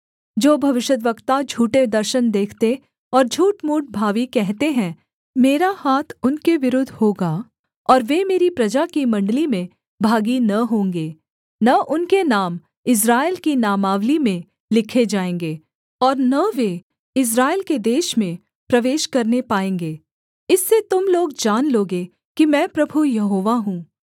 जो भविष्यद्वक्ता झूठे दर्शन देखते और झूठमूठ भावी कहते हैं मेरा हाथ उनके विरुद्ध होगा और वे मेरी प्रजा की मण्डली में भागी न होंगे न उनके नाम इस्राएल की नामावली में लिखे जाएँगे और न वे इस्राएल के देश में प्रवेश करने पाएँगे इससे तुम लोग जान लोगे कि मैं प्रभु यहोवा हूँ